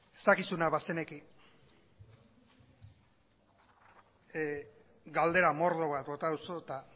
ez dakizuna bazeneki galdera mordo bat bota duzu eta